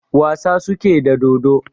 Wasa suke da dodo